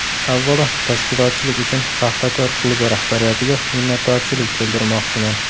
Avvalo tashkilotchilik uchun ‘Paxtakor’ klubi rahbariyatiga minnatdorchilik bildirmoqchiman.